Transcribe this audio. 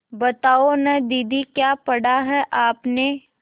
बताओ न दीदी क्या पढ़ा है आपने